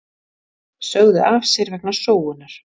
Sögðu af sér vegna sóunar